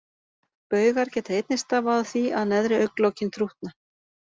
Baugar geta einnig stafað af því að neðri augnlokin þrútna.